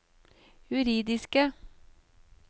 juridiske